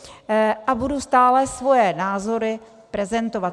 A budu stále svoje názory prezentovat.